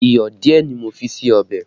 Iyọ̀ díẹ̀ ni mo fi sí ọbẹ̀